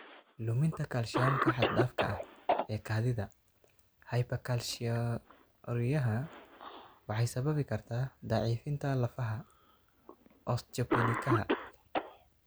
Luminta kaalshiyamka xad-dhaafka ah ee kaadida (hypercalciuriyaha) waxay sababi kartaa daciifinta lafaha (osteopenikaha).